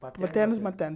paterno e materno.